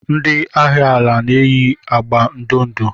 Ndị agha ala na-eyi agba ndụ ndụ.